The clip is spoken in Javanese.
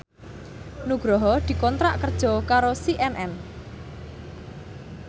Nugroho dikontrak kerja karo CNN